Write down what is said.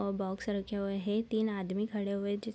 और बॉक्स रखे हुए हैं तीन आदमी खड़े हुए हैं जिस --